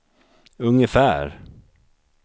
ungefär